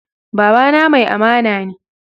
Baba na mai amana ne